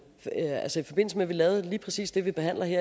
at vi lavede lige præcis det vi behandler i